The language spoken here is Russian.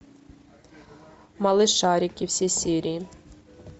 малышарики все серии